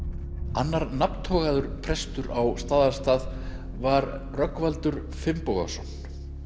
annar prestur á Staðarstað var Rögnvaldur Finnbogason